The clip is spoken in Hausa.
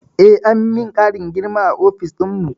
Eh, an min ƙarin girma a ofis dinmu